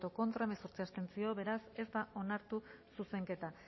contra hemezortzi abstentzio beraz ez da onartu zuzenketa